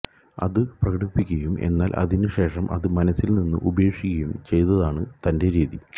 അതു പ്രകടിപ്പിക്കയും എന്നാൽ അതിനു ശേഷം അത് മനസ്സിൽ നിന്ന് ഉപേക്ഷിക്കുകയും ചെയ്യുന്നതാണ് തന്റെ രീതി